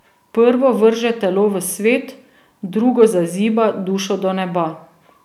Prvo vrže telo v svet, drugo zaziba dušo do neba.